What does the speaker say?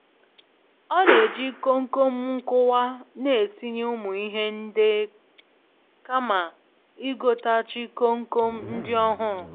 Ọ na eji komkom nkuwa n'etinye umu ihe nde kama i gotachi komkom nd'ohuru